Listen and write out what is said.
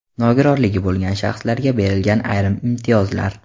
Nogironligi bo‘lgan shaxslarga berilgan ayrim imtiyozlar.